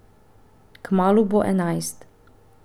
Kmalu bo enajst.